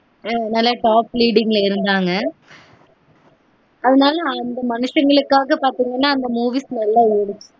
an நல்ல top leading ல இருந்தாங்க அதுனால அந்த மனுஷங்களுக்காக பாத்தீங்கனா அந்த movies நல்ல ஓடும்